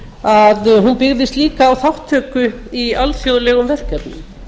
að hún byggðist líka á þátttöku í alþjóðlegum verkefnum